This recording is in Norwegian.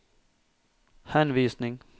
henvisning